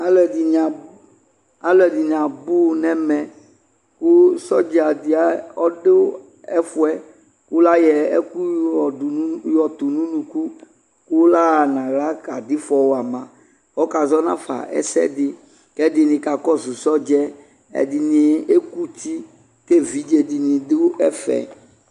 Alɔde ne a, alɔde ne abu nɛmɛ ko sɔdza de ne abo nɛfuɛ, ko layɔ ɛku yɔdu no, yɔto no unuku la ha nahla kado ifɔ wa ma Ɔkazɔ nafa ɛsɛde kɛ ɛdene ka kɔso sɔdzɛ Ɛdene ekuti ke evidze de ne do ɛfɛ